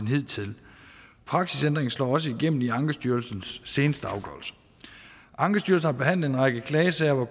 hidtil praksisændringen slår også igennem i ankestyrelsens seneste afgørelser ankestyrelsen har behandlet en række klagesager hvor